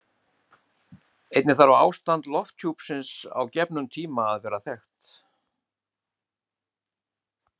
Einnig þarf ástand lofthjúpsins á gefnum tíma að vera þekkt.